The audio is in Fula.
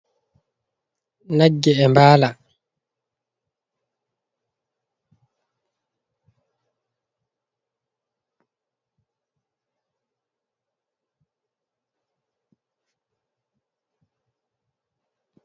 Nagge e mbala.